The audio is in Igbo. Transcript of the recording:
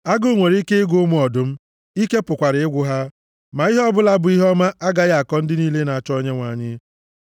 Agụụ nwere ike ịgụ ụmụ ọdụm, ike pụkwara ịgwụ ha, ma ihe ọbụla bụ ihe ọma agaghị akọ ndị niile na-achọ Onyenwe anyị.